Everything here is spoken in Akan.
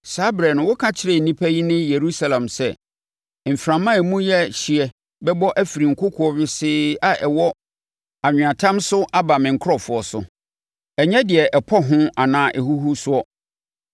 Saa ɛberɛ no wɔbɛka akyerɛ nnipa yi ne Yerusalem sɛ, “Mframa a emu yɛ hyeɛ bɛbɔ afiri nkokoɔ wesee a ɛwɔ anweatam so aba me nkurɔfoɔ so, ɛnyɛ deɛ ɛpɔ ho anaa ɛhuhu soɔ;